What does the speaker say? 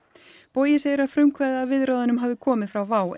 bogi segir að frumkvæðið að viðræðunum hafi komið frá WOW